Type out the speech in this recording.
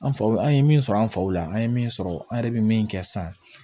An faw an ye min sɔrɔ an faw la an ye min sɔrɔ an yɛrɛ bɛ min kɛ sisan